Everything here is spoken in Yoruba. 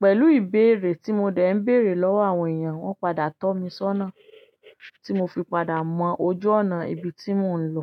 Pẹ̀lú ìbéèrè tí mo dẹ̀ ń béèrè lọ́wọ́ àwọn èèyàn, wọ́n padà tọ́ mi sọ́nà, tí mo fi padà mọ ojú ọ̀nà ibi tí mò ń lọ.